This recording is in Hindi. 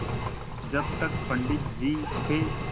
जब तक पंडित जी थे